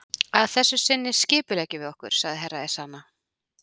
Að þessu sinni skipuleggjum við okkur, sagði Herra Ezana.